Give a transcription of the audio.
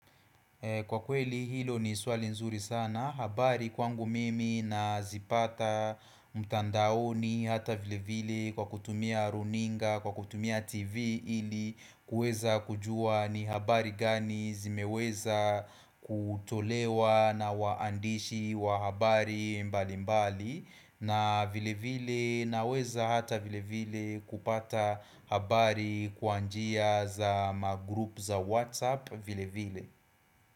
Kwa kweli hilo ni swali nzuri sana habari kwangu mimi nazipata mtandaoni hata vile vile kwa kutumia runinga, kwa kutumia tv ili kuweza kujua ni habari gani zimeweza kutolewa na waandishi wa habari mbali mbali na vile vile naweza hata vile vile kupata habari kwa njia za magroup za WhatsApp vile vile.